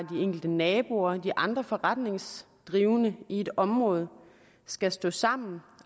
enkelte naboer de andre forretningsdrivende i et område skal stå sammen